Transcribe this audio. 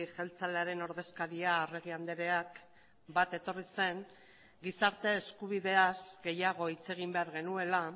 jeltzalearen ordezkaria arregi andreak bat etorri zen gizarte eskubideaz gehiago hitz egin behar genuela